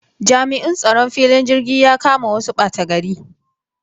Jami'in tsaron filin jirgin ya kama wasu ɓatagari.